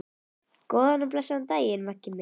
Góðan og blessaðan daginn, Maggi minn.